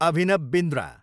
Abhinav Bindra